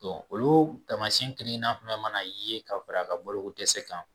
olu tamasiyɛn kelen kelenna fɛn fɛn mana ye ka fara a ka bolo ko dɛsɛ kan